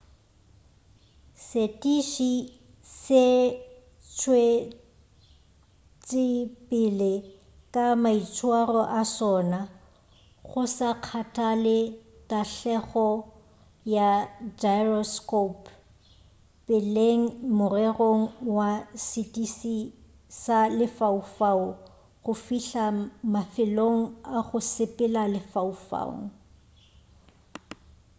setiši se tšwetšepele ka maitswaro a sona go sa kgathale tahlegelo ya gyroscopo peleng morerong wa setiši sa lefaufau go fihla mafelelong a go sepela lefaufaung